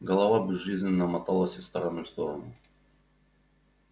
голова безжизненно моталась из стороны в сторону